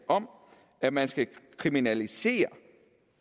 om at man skal kriminalisere